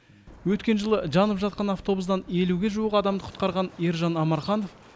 өткен жылы жанып жатқан автобустан елуге жуық адамды құтқарған ержан омарханов